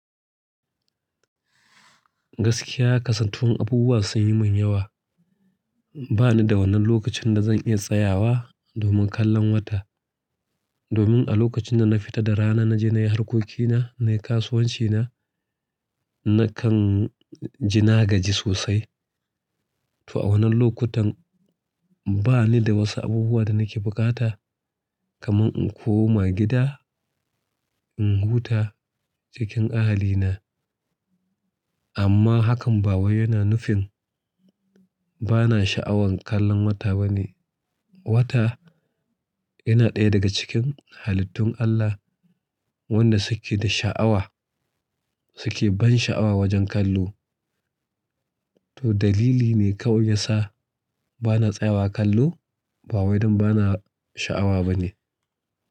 Gaskiya kasantuwan abubuwa sunyi min yawa. Bani da wannan lokacin dazan iya tsayawa domin kallon wata. Domin alokacin dana fita da rana naje nayi harkokina, nayi kasuwancina, na kanji nagaji sosai. To a wannan lokutan banida wasu abubuwan danake bukata kaman in koma gida, in huta cikin ahalina. Amma hakan ba wai yana nufin bana sha'awan kallon wata bane. Wata yana ɗaya daga cikin halittun Allah wanda suke da sha'awa, suke ban sha'awa wajen kallo. To daliline kawai yasa bana tsayawa kallo, ba wai don bana sha'awa bane.